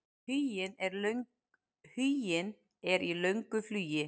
Huginn er í löngu flugi.